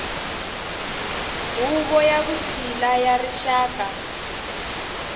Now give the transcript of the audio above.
huvo ya vutshila ya rixaka